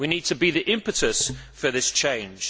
We need to be the impetus for this change.